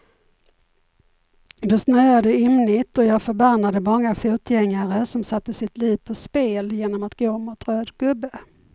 Det snöade ymnigt och jag förbannade många fotgängare som satte sitt liv på spel genom att gå mot röd gubbe.